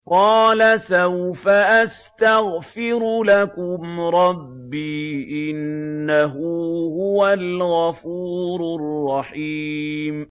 قَالَ سَوْفَ أَسْتَغْفِرُ لَكُمْ رَبِّي ۖ إِنَّهُ هُوَ الْغَفُورُ الرَّحِيمُ